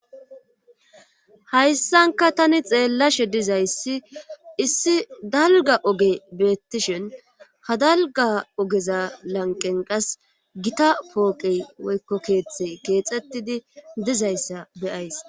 Hayssanka tani xeellashe dizayssi issi dalga oge beettishin ha dalga ogeza lanqen qas gita pooqey woykko keeththe keexxettidi dizayssa beyays.